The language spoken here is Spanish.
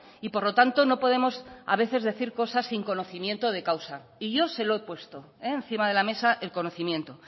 y por lo tanto no podemos a veces decir cosas sin conocimiento de causa y yo se lo he puesto encima de la mesa el conocimiento